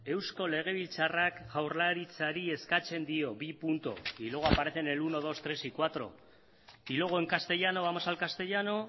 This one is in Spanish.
eusko legebiltzarrak jaurlaritzari eskatzen dio bi puntu y luego aparece en el uno dos tres y cuatro y luego en castellano vamos al castellano